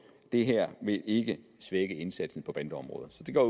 det her vil ikke svække indsatsen på bandeområdet så det går